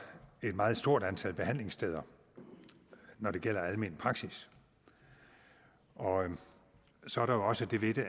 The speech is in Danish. et meget stort antal behandlingssteder når det gælder almen praksis og så er der også det ved det